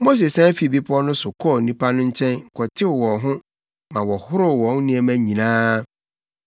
Mose sian fii bepɔw no so kɔɔ nnipa no nkyɛn kɔtew wɔn ho ma wɔhoroo wɔn nneɛma nyinaa.